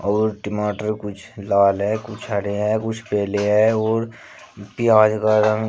और टमाटर कुछ लाल है कुछ हरे हैं कुछ पीले है और प्याज का रंग--